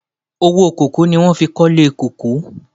Owó kòkó ni wọhn fi kọ́ ilé kòkó.